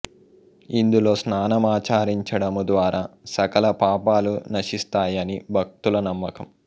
ఇందులో స్నానమాచరించడము ద్వారా సకల పాపాలు నశిస్తాయని భక్తుల నమ్మకం